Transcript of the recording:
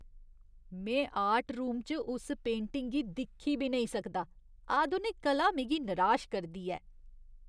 में art room च उस पेंटिंग गी दिक्खी बी नेईं सकदा, आधुनिक कला मिगी निराश करदी ऐ।